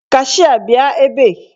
Kashịa bịa ebe!